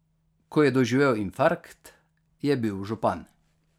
Ko je doživel infarkt, je bil župan.